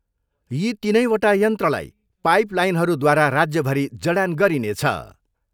यी तिनैवटा यन्त्रलाई पाइप लाइनहरूद्वारा राज्यभरि जडान गरिनेछ।